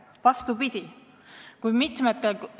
Vastupidi!